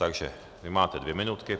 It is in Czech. Takže vy máte dvě minutky.